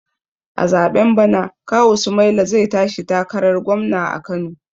A zaɓen bana kawu sumaila zai tashi takarar gwamna a kano